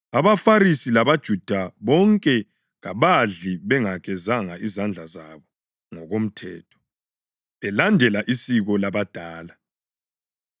(AbaFarisi labaJuda bonke kabadli bengagezanga izandla zabo ngokomthetho, belandela isiko labadala.